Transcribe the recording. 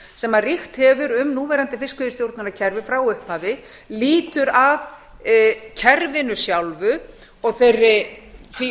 sem ríkt hefur um núverandi fiskveiðistjórnarkerfi frá upphafi lýtur að kerfinu sjálfu og því